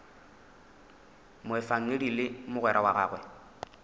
moefangedi le mogwera wa gagwe